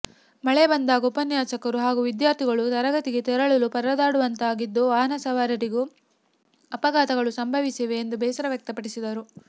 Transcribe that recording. ಮಳೆ ಬಂದಾಗ ಉಪನ್ಯಾಸಕರು ಹಾಗೂ ವಿದ್ಯಾರ್ಥಿಗಳು ತರಗತಿಗೆ ತೆರಳಲು ಪರದಾಡುವಂತಾಗುತ್ತಿದ್ದು ವಾಹನ ಸವಾರರಿಗೂ ಅಪಘಾತಗಳು ಸಂಭವಿಸಿವೆ ಎಂದು ಬೇಸರ ವ್ಯಕ್ತಪಡಿಸಿದರು